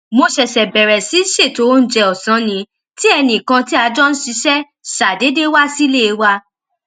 mo ṣèṣè bèrè sí ṣètò oúnjẹ òsán ni tí ẹnì kan tí a jọ ń ṣiṣé ṣàdédé wá sílé wa